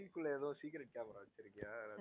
குள்ள எதுவும் secret camera வெச்சிருக்கியா?